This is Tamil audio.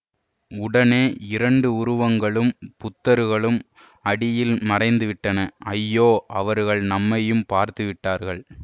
உடனே இரண்டு உருவங்களும் புதர்களும் அடியில் மறைந்து விட்டன ஐயோ அவர்கள் நம்மையும் பார்த்து விட்டார்கள்